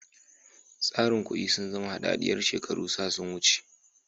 Tsarin kudi sun zama hadadiyar shekaru sa sun wuce.